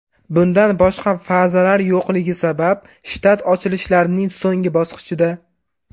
Bundan boshqa fazalar yo‘qligi sabab, shtat ochilishlarning so‘nggi bosqichida.